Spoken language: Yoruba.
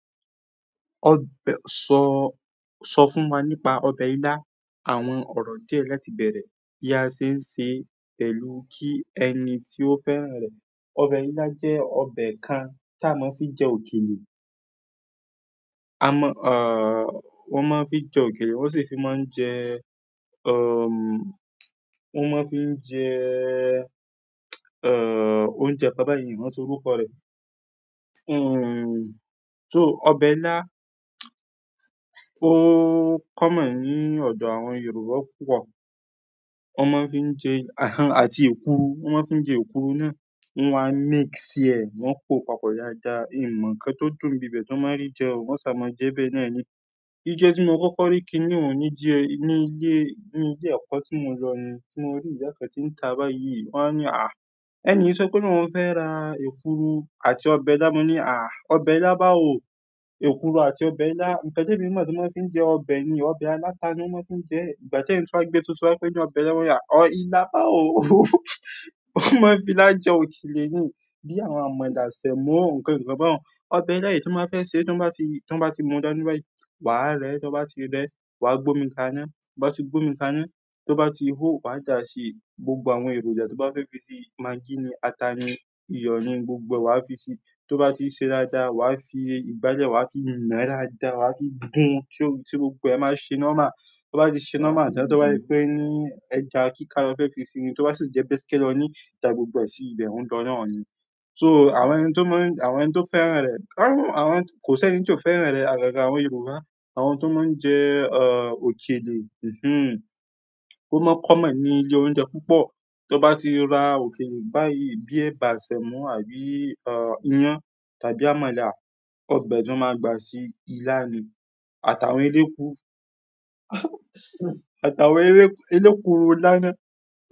Ọbẹ--. Sọ, sọ fún wa nípa ọbẹ̀ ilá, àwọn ọ̀rọ̀ díẹ̀ láti bẹ̀rẹ̀ bí a ṣe ń ṣe pẹ̀lú kí ẹni tí ó fẹ́rán rẹ̀. Ọbẹ̀ ilá jẹ́ ọbẹ̀ kan tí a máa ń fi jẹ òkèlè. A mọ, à, wọ́n máa ń fi jẹ òkèlè, wọ́n sì fi máa ń jẹ, um, wọ́n máa ń fi ń jẹ, òúnjẹ pápá mi o rántí orúkọ rẹ̀. Um, so ọbẹ̀ ilá, ó kọ́ mọ̀ ní ọ̀dọ̀ àwọn Yorùbá púpọ̀. Wọ́n máa ń fi ń jẹ, ahn, àti èkuru, wọ́n máa ń fi ń jẹ èkuru náà, wọ́n á mix síẹ̀, wọ́n kó papọ̀ dáadáa. Èmi mọ̀ nǹkan tó dùn bíbẹ̀ tí wọ́n má ri jẹ o, wọ́n sì máa jẹbẹ́ náà ni. Jíjẹ tí mo kọ́kọ́ rí kin ní òní díẹ̀ ní ilé, ní ilé ẹ̀kọ́ tí mo lọ ni tí mo rí. Kẹ́hìn tí ń ta bá yí, wọ́n á ní, "Àh." Ẹni sọ pé kó ni wọ́n fẹ́ ra èkuru àti ọbẹ̀ ilá. Mo ní, "Àh, ọbẹ̀ ilá bá o, èkuru àti ọbẹ̀ ilá." Ǹkan temi mọ̀ tí wọ́n máa ń fi jẹ ọbẹ̀ ni ọbẹ̀ aláta ni wọ́n máa ń fi ń jẹ. Ìgbà tí ẹyin tí wá gbé tuntun wa pé ní ọbẹ̀ ilá, mo ní, "ilá báwo." Wọ́n máa fi ilá je òkèlè ni bí àwọn àmàlà, sẹ̀mọ, nǹkan ìkan bá n. Ọbẹ̀ ilá yìí tí mo má fẹ́ sè, tí wọ́n bá ti, tí wọ́n bá ti múdání bá yí, wàá rẹ́. Tí wọ́n bá ti rẹ́, wàá gbómi kaná. Tí wọ́n bá ti gbómi kaná, tí wọ́n bá ti hohò, wàá dà á sí gbogbo àwọn èròjà tí wọ́n bá fẹ́ fi sí i. Magí ni, ata ni, iyọ̀ ni, gbogbo ẹ, wà á fi sí i. Tí wọ́n bá ti ṣẹ́ daada, wà á fi ìgbálẹ̀, wà á fi ná daáda, wà á fi gún tí gbogbo ẹ máa ṣe normal. To ba ti se norma tan to se pe ẹja kika lo fe fi si ni to ba si je beske loni da gbogbo e si o n lo náà ni so àwọn ẹni tí ó máa ń, àwọn ẹni tí ó fẹ́ rán rẹ̀, ahn, àwọn, kò sí ẹni tí ò fẹ́ rán rẹ̀. Àgàgà àwọn Yorùbá, àwọn tó máa ń jẹ, uh, òkèlè, mhm, ó máa kọ́ mọ̀ ní ilé oúnjẹ púpọ̀. Tí wọ́n bá ti ra òkèlè báyìí bíi ẹ̀bà, sẹ̀mọ àbí, uh, iyán tàbí àmàlà, ọbẹ̀ náà máa gba sí ilá ni. Àtàwọn elékuru, àtàwọn, elékuru ilá nàá.